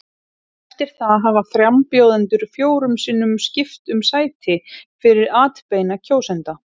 Eftir það hafa frambjóðendur fjórum sinnum skipt um sæti fyrir atbeina kjósenda.